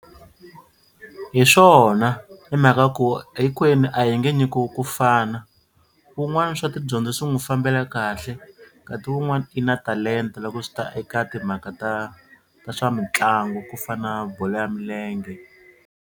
Hi swona hi mhaka ku hinkwenu a hi nge nyikiwi ku fana wun'wana swa tidyondzo swi n'wi fambela kahle kati wun'wana i na talenta loko swi ta eka timhaka ta ta swa mitlangu ku fana na bolo ya milenge.